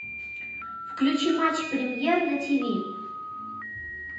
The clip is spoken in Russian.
включи матч премьер на тв